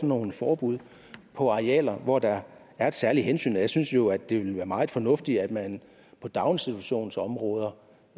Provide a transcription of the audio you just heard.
nogle forbud på arealer hvor der er et særligt hensyn jeg synes jo det ville være meget fornuftigt at man på daginstitutionsområder